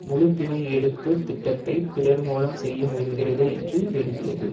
முழு பிணை எடுப்பு திட்டத்தையும் பிறர் மூலம் செய்ய முயல்கிறது என்று எழுதியது